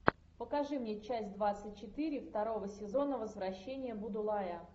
покажи мне часть двадцать четыре второго сезона возвращение будулая